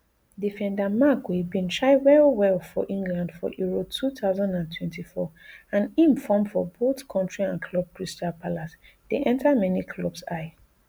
defendermarc guehibin shine well well for england for euro two thousand and twenty-four and im form for both kontri and club crystal palace dey enta many clubs ey